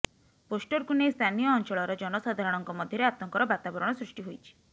ପୋଷ୍ଟରକୁ ନେଇ ସ୍ଥାନୀୟ ଅଞ୍ଚଳର ଜନସାଧାରଣଙ୍କ ମଧ୍ୟରେ ଆତଙ୍କର ବାତାବରଣ ସୃଷ୍ଟି ହୋଇଛି